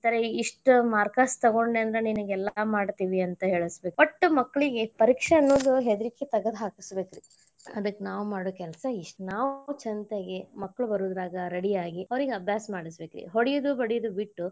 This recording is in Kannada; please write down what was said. ಇತರ ಇಷ್ಟ್ marks ತೊಗೊಂಡಿ ಅಂದ್ರ ನಿನಗೆಲ್ಲ ಮಾಡ್ತೇವಿ ಅಂತ ಹೇಳಸಬೇಕ್ ವಟ್ಟ್ ಮಕ್ಳಿಗೆ ಪರೀಕ್ಷೆ ಅನ್ನೋದ್ ಹೆದರಿಕಿ ತಗದ್ ಹಾಕಸಬೆಕರೀ ಅದಕ್ಕ್ ನಾವ್ ಮಾಡುದ ಕೆಲಸ ಇಷ್ಟ. ನಾವ್ ಚಂತಗೆ ಮಕ್ಳ ಬರುದರಾಗ ready ಆಗಿ ಅವ್ರಿಗೆ ಅಭ್ಯಾಸ ಮಾಡಸಬೇಕರಿ ಹೊಡಿಯುದ ಬಡಿಯುದ ಬಿಟ್ಟ್.